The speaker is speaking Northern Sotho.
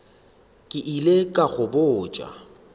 ke ile ka go botša